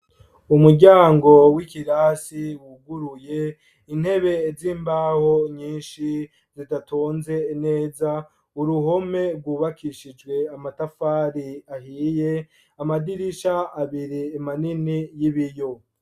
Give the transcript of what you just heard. Umuryango w'ikirasi, wuguruye intebe z'imbaho nyinshi, zidatonze neza; uruhome, rwubakishijwe amatafari ahiye; amadirisha abiri, manini y'ibiyo.